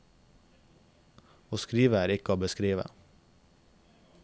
Å skrive er ikke å beskrive.